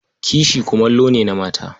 Kishi kumallo ne na mata.